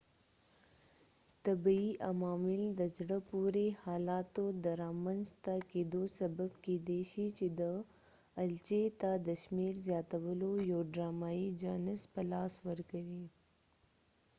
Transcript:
طبعی عوامل د زړه پورې حالاتو د رامنځ ته کېدو سبب کېدای شي چې دي الچې ته د شمیر زیاتولو یو ډرامایې جانس په لاس ورکوي